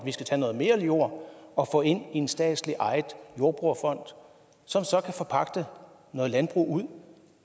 at vi skal tage noget mere jord og få det ind i en statsligt ejet jordbrugerfond som så kan forpagte noget landbrug ud